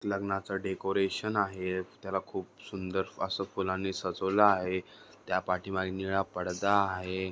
लग्नाचं डेकोरेशन आहे त्याला खूप सुंदर असं फुलांनी सजवलं आहे त्यापाठीमागे निळा पडदा आहे.